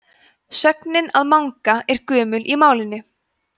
sögnin að manga er gömul í málinu